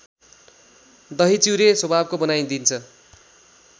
दहीचिउरे स्वभावको बनाइदिन्छ